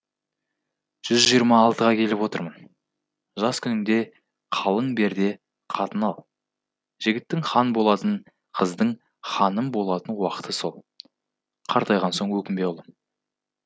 жүз жиырма алтыға келіп отырмын жас күнінде қалың бер де қатын ал жігіттің хан болатын қыздың ханым болатын уақыты сол қартайған соң өкінбе ұлым